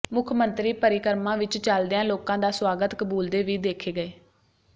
ਮੁੱਖ ਮੰਤਰੀ ਪਰਿਕਰਮਾ ਵਿੱਚ ਚਲਦਿਆਂ ਲੋਕਾਂ ਦਾ ਸੁਆਗਤ ਕਬੂਲਦੇ ਵੀ ਦੇਖੇ ਗਏ